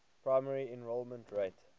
primary enrollment rate